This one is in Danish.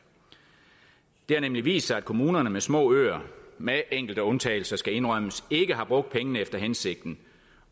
det har nemlig vist sig at kommunerne med små øer med enkelte undtagelser det skal indrømmes ikke har brugt pengene efter hensigten